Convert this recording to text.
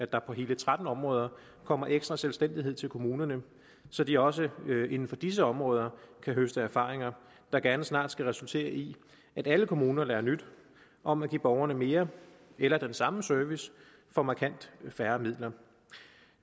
der på hele tretten områder kommer ekstra selvstændighed til kommunerne så de også inden for disse områder kan høste erfaringer der gerne snart skal resultere i at alle kommuner lærer nyt om at give borgerne mere eller den samme service for markant færre midler